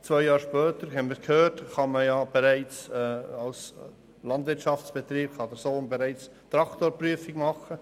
Zwei Jahre später kann man, wie wir gehört haben, bereits die Traktorprüfung machen.